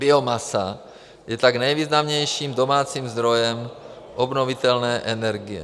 Biomasa je tak nejvýznamnějším domácím zdrojem obnovitelné energie.